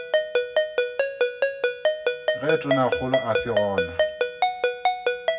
ge tonakgolo a se gona